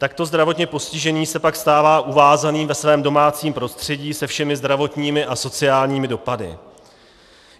Takto zdravotně postižený se pak stává uvázaným ve svém domácím prostředí se všemi zdravotními a sociálními dopady.